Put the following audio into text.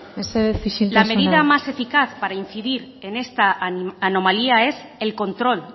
mesedez isiltasuna la medida más eficaz para incidir en esta anomalía es el control